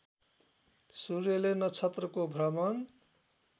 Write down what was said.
सूर्यले नक्षत्रको भ्रमण